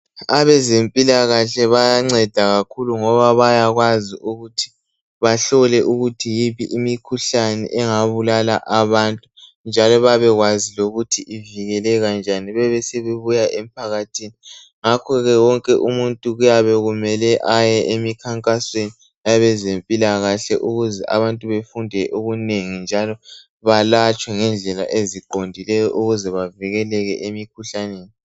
Abezempilakahle bayanceda kakhulu ngoba bayakwazi ukuthi bahlole ukuthi yiphi imikhuhlane engabulala abantu njalo babekwazi lokuthi ivikelekanjani bebe sebebuya emphakathini , ngakho ke wonke umuntu kuyabe kumele aye emikhankasweni yabezempilakahle ukuze abantu befunda okunenenginengi njalo balatshwe ngendlela eziqondileyo ukube bavikele emkhuhlaneni